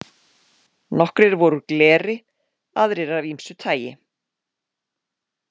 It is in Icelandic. Nokkrir voru úr gleri, aðrir af ýmsu tagi.